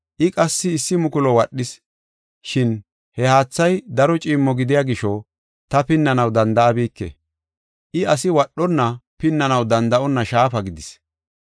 I qassi issi mukulu wadhis. Shin he haathay daro ciimmo gidiya gisho, ta pinnanaw danda7abike; I asi wadhonna pinnanaw danda7onna shaafa gidis.